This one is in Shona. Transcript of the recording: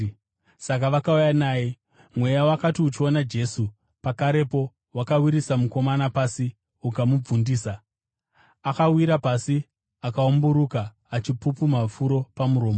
Saka vakauya naye. Mweya wakati uchiona Jesu, pakarepo wakawisira mukomana pasi ukamubvundisa. Akawira pasi akaumburuka, achipupuma furo pamuromo.